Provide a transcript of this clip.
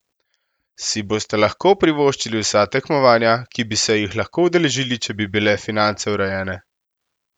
Si boste lahko privoščili vsa tekmovanja, ki bi se jih lahko udeležili, če bi bile finance urejene?